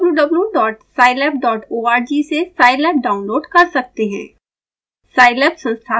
आप wwwscilaborg से scilabडाउनलोड कर सकते हैं